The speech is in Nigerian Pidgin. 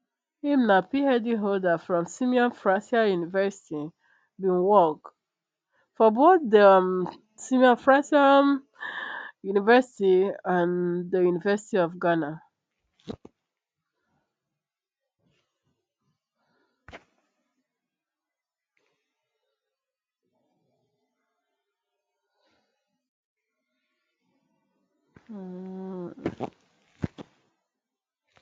im na phd holder from simon fraser university bin work for both di um simon fraser um university and di university of ghana